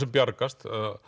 bjargast